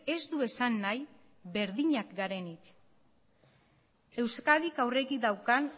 ez du esan nahi berdinak garenik euskadik aurretik daukan